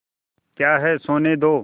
क्या है सोने दो